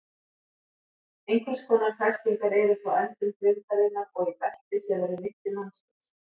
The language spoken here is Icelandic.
Einhvers konar festingar eru frá endum grindarinnar og í belti sem er um mitti mannsins.